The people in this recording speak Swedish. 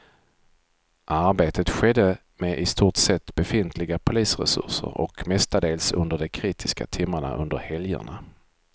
Arbetet skedde med i stort sett befintliga polisresurser och mestadels under de kritiska timmarna under helgerna.